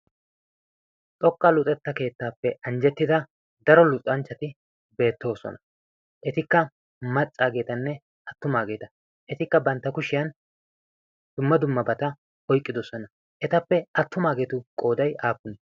xoqqa luxetta keettaappe anjjettida daro luxanchchati beettoosona. etikka maccaageetanne attumaageeta etikka bantta kushiyan dumma dumma bata oiqqidossona etappe attumaageetu qoodai aappunee?